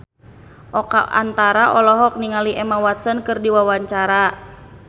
Oka Antara olohok ningali Emma Watson keur diwawancara